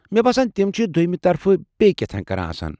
مےٚ باسان تِم چھِ دو٘یمہٕ طرفہٕ بییٚہِ کیٚتھانۍ كران آسان ۔